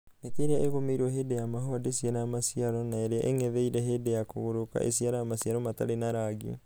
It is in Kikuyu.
mĩtĩ ĩrĩa ĩgũmeirwo hĩndĩ ya mahũa ndĩciaraga maciaro na ĩrĩa ĩng'etheire hĩndĩ ya kũgũrũka ĩciaraga maciaro matarĩ na rangi.